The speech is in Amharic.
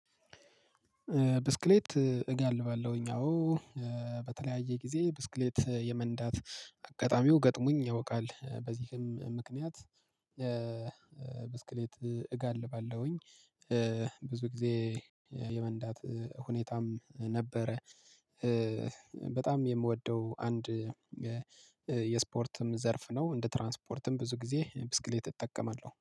ብስክሌት እጋልባለሁኝ አዎ በተለያየ ጊዜ ብስክሌት የመንዳት አጋጣሚው ገጥሙኝ ያውቃል በዚህም ምክንያት ብስክሌት እጋልባለሁኝ። ብዙ ጊዜ የመንዳት ሁኔታም ነበረ። በጣም የምወደው አንድ የስፖርትም ዘርፍ ነው። እንደ ትራንስፖርትም ብዙ ጊዜ ብስክሌት እጠቀማለሁ